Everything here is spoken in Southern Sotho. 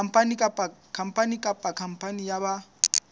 khampani kapa khampani ya ba